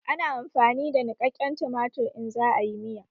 Ana amfani da niƙaƙƙen tumatir in za a yi miya